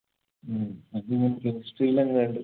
ഉം അതിങ്ങനെ chemistry ലെങ്ങാണ്ട്